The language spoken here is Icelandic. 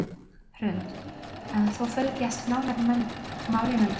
Hrund: En þú fylgdist nánar með málinu í dag?